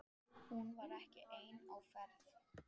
Hún var ekki ein á ferð.